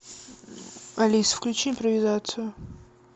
алиса включи импровизацию